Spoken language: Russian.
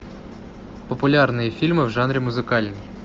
популярные фильмы в жанре музыкальный